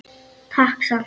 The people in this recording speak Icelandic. Takk samt.